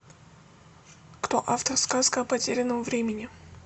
кто автор сказка о потерянном времени